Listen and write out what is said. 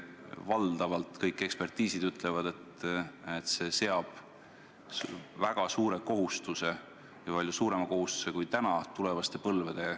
Valdavas enamikus kõik eksperdid ütlevad, et see seab tulevaste põlvede õlule väga suure kohustuse – palju suurema kohustuse, kui on praegune.